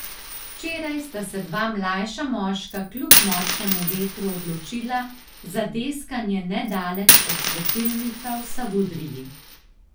Včeraj sta se dva mlajša moška kljub močnemu vetru odločila za deskanje nedaleč od svetilnika v Savudriji.